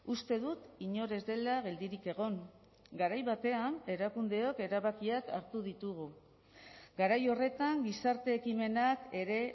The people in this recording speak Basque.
uste dut inor ez dela geldirik egon garai batean erakundeok erabakiak hartu ditugu garai horretan gizarte ekimenak ere